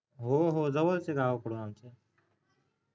हो हो जवळच आहे गावाकडून आमच्या